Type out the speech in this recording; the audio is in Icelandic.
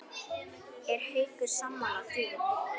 Er Haukur sammála því?